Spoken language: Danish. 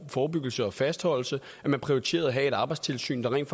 forebyggelse og fastholdelse og at man prioriterede at have et arbejdstilsyn der rent